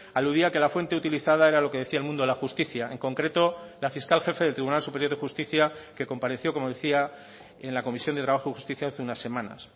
aludía que la fuente utilizada era lo que decía el mundo de la justicia en concreto la fiscal jefe del tribunal superior de justicia que compareció como decía en la comisión de trabajo y justicia hace unas semanas